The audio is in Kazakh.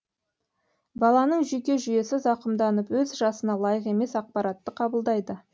баланың жүйке жүйесі зақымданып өз жасына лайық емес ақпаратты қабылдайды